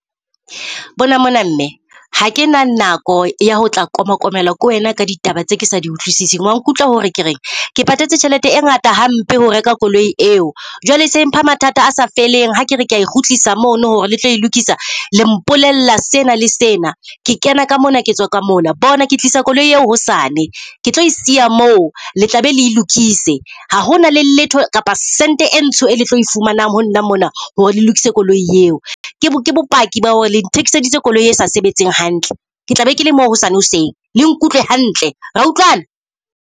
Bona mona mme ha ke na nako ya ho tla koma komelwa ke wena ka ditaba tse ke sa di utlwisiseng. Wa nkutlwa hore ke reng ke patetse tjhelete e ngata hampe ho reka koloi eo, jwale e se e mpha mathata a sa feleng. Ha kere kea e kgutlisa mono hore le tlo e lokisa, le mpolella sena le sena. Ke kena ka mona, ke tswa ka mona. Bona ke tlisa koloi eo hosane ke tlo e siya mo le tla be le e lokise. Ha hona le letho kapa sentse e ntsho e le tlo e fumanang ho nna mona hore le lokise koloi eo ke bopaki ba hore le nthekiseditse koloi e sa sebetseng hantle. Ke tla be ke le moo hosane hoseng le nkutlwe hantle. Ra utlwana?